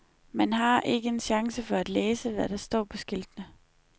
Man har ikke en chance for at læse, hvad der står på skiltene.